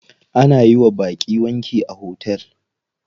Ana yiwa baƙi wanki a hotel.